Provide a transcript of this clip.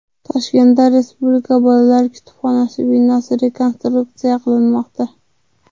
Toshkentda Respublika bolalar kutubxonasi binosi rekonstruksiya qilinmoqda.